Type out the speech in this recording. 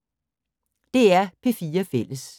DR P4 Fælles